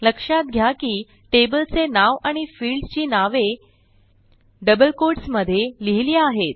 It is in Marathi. लक्षात घ्या की टेबल चे नाव आणि फील्ड ची नावे डबल कोट्स मध्ये लिहिली आहेत